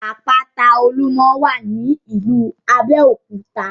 Àpáta Olúmọ wà ní ìlú Abéòkúta